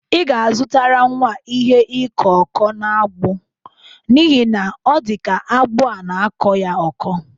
Ị ga-azụtara nwa a ihe ịkọ ọkụ n'agbụ n'ihi na ọ dịka agbụ ọ na-akọ ya ọkọ.